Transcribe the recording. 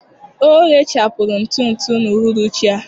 Ọ ghechapụrụ ntụ ntụ n'uhuruchi a.